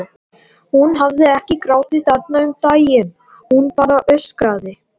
Hún hafði ekki grátið þarna um daginn, hún bara öskraði.